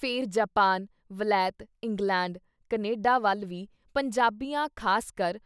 ਫਿਰ ਜਾਪਾਨ, ਵਲੈਤ, England, Canada ਵੱਲ ਵੀ ਪੰਜਾਬੀਆਂ ਖਾਸਕਰ